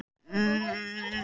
Hún er sannarlega komin heim.